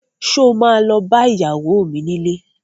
Sọ ma lọ bá ìyàwó mi nílé?